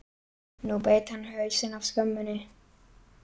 Nú beit hann hausinn af skömminni!